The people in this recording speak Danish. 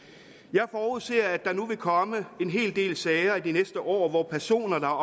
jeg forudser at der nu vil komme en hel del sager i de næste år hvor personer der